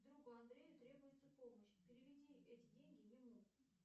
другу андрею требуется помощь переведи эти деньги ему